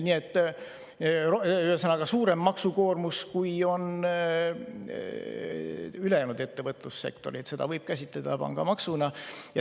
Nii et, ühesõnaga, on suurem maksukoormus, kui on ülejäänud ettevõtlussektoril, ja seda võib käsitleda pangamaksuna.